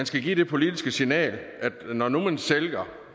skal give det politiske signal at når nu man sælger